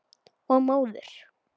Og móður.